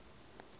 great turkish war